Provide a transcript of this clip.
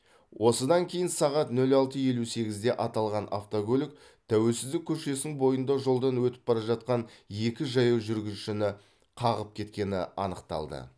осыдан кейін сағат нөл алты елу сегізде аталған автокөлік тәуелсіздік көшесін бойында жолдан өтіп бара жатқан екі жаяу жүргіншіні қағып кеткені анықталды